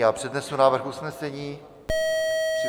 Já přednesu návrh usnesení.